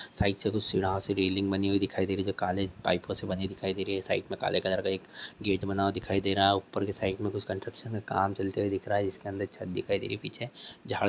side से कुछ यहाँ कुछ रेलिंग बनी दिखाई दे रही है जो की कुछ काले पाईप ओ से बनी दिखाई दे रही है साइड में काले कलर का एक गेट बना हुआ दिखाई दे रहा है ऊपर के साईड में कुछ कंस्ट्रक्शन का काम चलते हुए दिख रहा है जिसके अंदर छत दिखाई दे रही है पीछे झार--